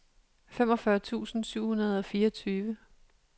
femogfyrre tusind syv hundrede og fireogtyve